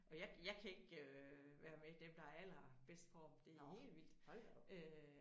Og jeg jeg kan ikke øh være med dem der har allerbedst form det er helt vildt øh